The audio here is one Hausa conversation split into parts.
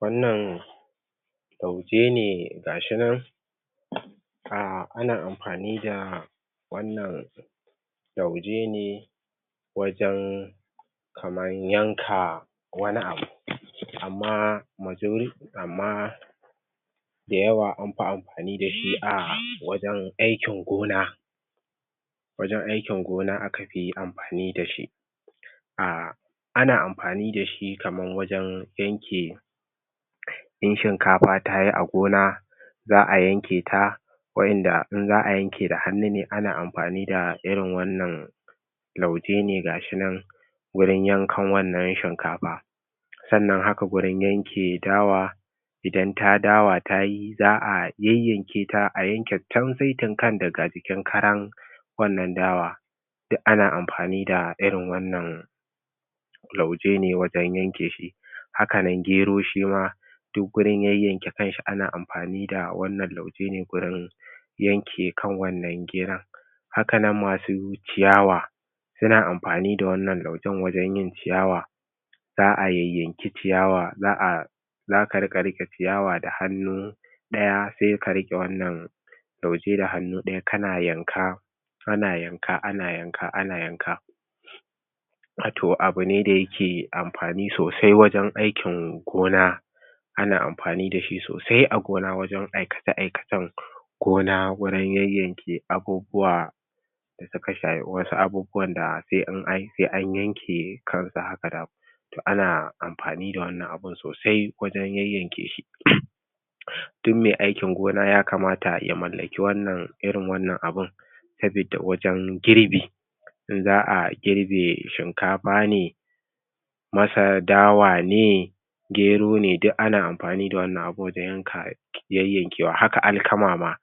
wannan lauje ne gashi nan ah ana amfani da wannan lauje ne wajen kaman yanka wani abu amma majori amma da yawa anfi amfani dashi ah wajen aikin gona wajen aikin gona akafi amfani dashi ah ana amfani da shi kamar wajen yanke in shinka fa tayi a gona za'a yanke ta wadan ada in za'a yanke da hannu ne ana amfani da irin wannan lauje ne gashi nan gurin yankan wannan shinkafa sannan haka wurin yanke dawa ida ta dawa tayi za'a yayyanke ta a yanke saitin kan daga jikin karan wannan dawa duk ana amfani da irin wannan lauje ne wajen yanke shi haka nan gero shima duk gurin yayyanke kanshi ana amfani da wannan lauje ne gurin yanke kan wannan geron haka nan masu ciyawa suna amfani da wannan laujen wajen yin ciyawa za'a yayyanki ciyawa za'a zaka rika rike ciyawa da hannu daya sai ka rika rike wannan lauje da hannu daya kana yanka ana yanka ana yanka ana yanka to abune da yake amfani sosai wajen aikin gona ana amfani dashi sosai a gona wajen aikace aikacen gona wurin yayyanke abubuwa da suka shafi wasu abubuwa da sai an yanke kan su haka ana amfani da wannan abun sosai wajen yayyanke shi duk mai aikin gona ya kamata ya mallaki wannan irin wannan abun sabidda wajen girbi za'a girbe shinkafa ne masa dawa ne gero ne duk ana amfanii da wannan abun don yayyankewa haka alkama ma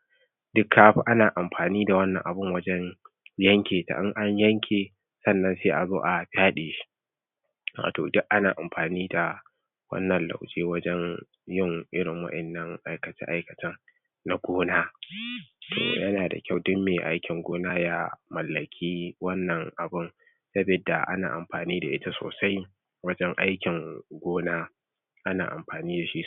duka ana amfani da wannan abun wajen yanke su in an yanke sai azo a fyade shi wato duk ana amfani da wannan lauje wajen yin irin wadannan aikace aikacen na gona to yana da kyau duk me aikin gona ya mallaki wannan abun sabidda ana amafani da ita sosai wajen aikin gona ana amfani dashi